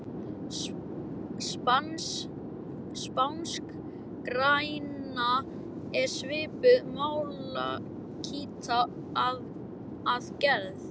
Spanskgræna er svipuð malakíti að gerð.